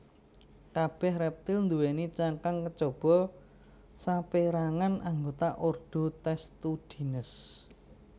Kabèh rèptil nduwèni cangkang kejaba sapérangan anggota ordo Testudines